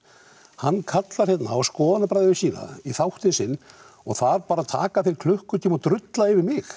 hann kallar hérna á skoðanabræður sína í þáttinn sinn og þar bara taka þeir klukkutíma og drulla yfir mig